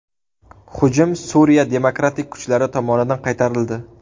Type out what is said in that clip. Hujum Suriya demokratik kuchlari tomonidan qaytarildi.